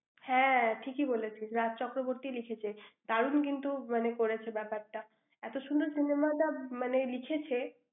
হ্যাঁ, ঠিকই বলেছিস। রাজ চক্রবর্তী লিখেছেন। দারুণ কিন্তু মানে, করেছে, ব্যাপারটা। এত সুন্দর cinema টা মানে লিখেছে,